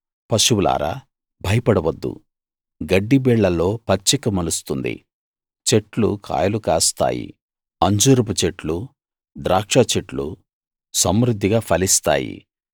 పశువులారా భయపడవద్దు గడ్డిబీళ్లలో పచ్చిక మొలుస్తుంది చెట్లు కాయలు కాస్తాయి అంజూరపుచెట్లు ద్రాక్షచెట్లు సమృద్ధిగా ఫలిస్తాయి